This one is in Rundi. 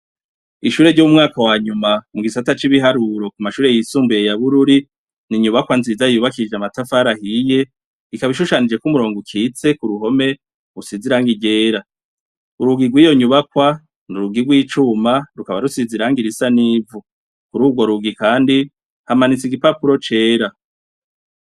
Ishure ry'umwaka wanyuma mu gisata c'ibiharuro ku mashure yisumbuye ya bururi n'inyubakwa nziza yubakishije amatafara ahiye ikaba ishushanije ko umurongo ukitse ku ruhome usize iragi ryera, urugi rwiyo nyubakwa n'urugi rw'icuma rukaba rusize irangi risa n'ivu kuri urwo rugi kandi hamanitse igipapuro cera.